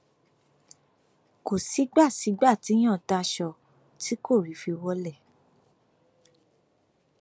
kò sígbà sígbà téèyàn daṣọ tí kò rí i fi wọlẹ